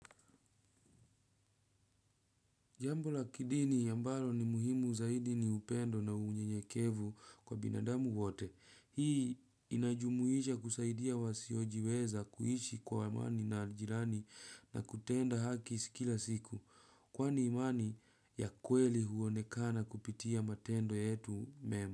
Jambo la kidini ambalo ni muhimu zaidi ni upendo na unyenyekevu kwa binadamu wote. Hii inajumuisha kusaidia wasiojiweza kuishi kwa amani na jirani na kutenda haki kila siku. Kwani imani ya kweli huonekana kupitia matendo yetu mema.